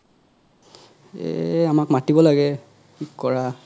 এ আমাক মাতিব লাগে কি ক'ৰা